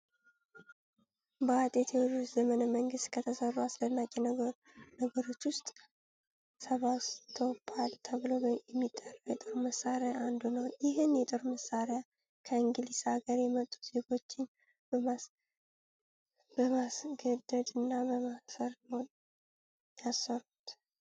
በአጤ ቴዎድሮስ ዘመነ መንግስት ከተሰሩ አስደናቂ ነገሮች ውስጥ ሰባስቶፖል ተብሎ የሚጠራው የጦር መሳሪያ አንዱ ነው። ይህን የጦር መሳሪያ ከእንግሊዝ ሀገር የመጡ ዜጎችን በማስገደድ እና በማሰር ነው ያሰሩት።